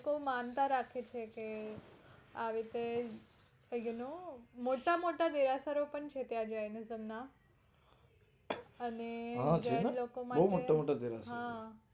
લોકો માનતા રાખે છે કે આવી રીતે you know મોટા મોટા દેરાસરો પણ છે ત્યાં jainism માં. અને જૈન લોકો માટે હમ